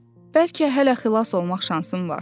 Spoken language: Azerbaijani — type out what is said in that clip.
Bəlkə hələ xilas olmaq şansım var.